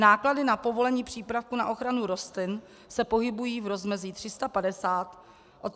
Náklady na povolení přípravku na ochranu rostlin se pohybují v rozmezí od 350 do 530 tis. korun.